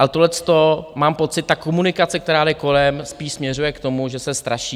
A tohleto mám pocit, ta komunikace, která jde kolem, spíš směřuje k tomu, že se straší.